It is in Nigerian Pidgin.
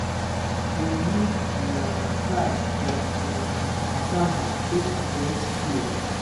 dem use um starch from um cassava take press cloth